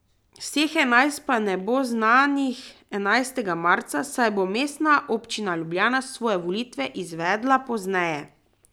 Vseh enajst pa ne bo znanih enajstega marca, saj bo Mestna občina Ljubljana svoje volitve izvedla pozneje.